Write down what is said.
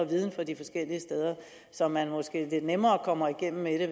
viden fra de forskellige steder så man måske lidt nemmere kommer igennem med det